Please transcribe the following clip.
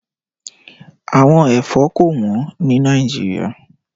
Àwọn ẹ̀fọ́ kò wọ́n ní Nàìjíríà.